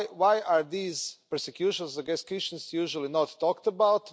Why are these persecutions against Christians usually not talked about?